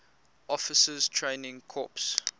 officers training corps